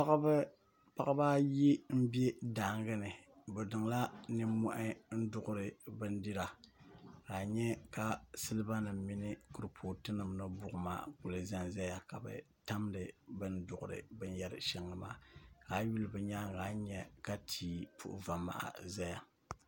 Paɣiba ayi m-be daaŋa ni bɛ niŋla nimmɔhi n-duɣiri bindira ka a nya ka silibanima mini kuripootunima ni buɣima kuli za n-zaya ka bɛ tamdi bɛ ni duɣiri binyɛr' shɛŋa maa yi yuli bɛ nyaaŋa a ni nya ka tia kuli puhi va' maha zaya